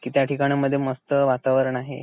कि त्या ठिकाण मध्ये मस्त वातावरण आहे.